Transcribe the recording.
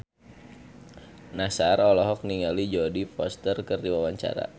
Nassar olohok ningali Jodie Foster keur diwawancara